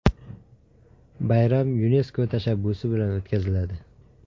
Bayram YuNESKO tashabbusi bilan o‘tkaziladi.